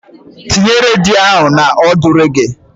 Tinye redio ahụ na ọdụ reggae.